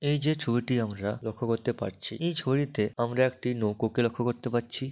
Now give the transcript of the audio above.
এই যে ছবিটি আমরা লক্ষ্য করতে পারছি এই ছড়িতে আমরা একটি নৌকো কে লক্ষ্য করতে পারছি।